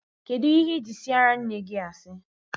Kedụ ihe ị ji siara nne gị asị?